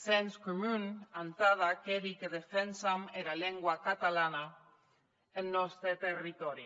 sens comun entad aqueri que defensam era lengua catalana en nòste territòri